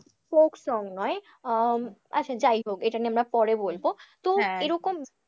folk song নয় আহ আচ্ছা যাই হোক এটা নিয়ে আমরা পড়ে বলবো, তো এরকম,